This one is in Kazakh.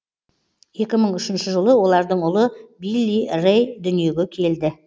екі мың үшінші жылы олардың ұлы билли рэй дүниеге келді